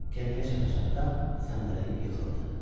Gəmiyə çata-çatda səndələyib yıxıldı.